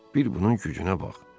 Bir bunun gücünə bax.